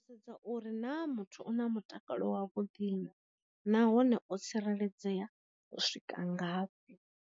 Sedza uri na muthu u na mutakalo wa vhuḓi na, nahone o tsireledzea u swika ngafhi.